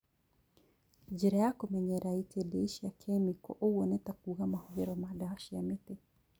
Njĩra ya kũmenyerera itindiĩ cia kĩmĩko oguo nĩtakuga mahũthĩro ma ndawa cia mĩtĩ